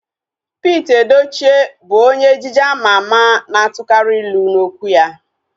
Pete Edochie bụ onye ejije ama ama na-atukari ilu n'okwu ya